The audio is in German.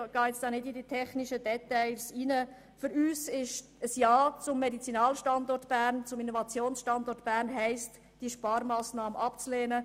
Für uns bedeutet ein Ja zum Medizinal- und zum Innovationsstandort Bern, diese Massnahme abzulehnen.